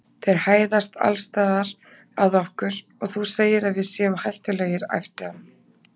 Þeir hæðast alls staðar að okkur og þú segir að við séum hættulegir æpti hann.